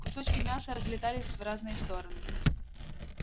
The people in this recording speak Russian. кусочки мяса разлетались в разные стороны